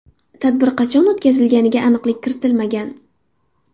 Tadbir qachon o‘tkazilganiga aniqlik kiritilmagan.